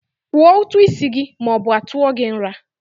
Kwụọ ụtụ isi gị ma ọ bụ a tụọ gị nra!